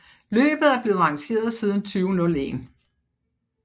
Løbet er blevet arrangeret siden 2001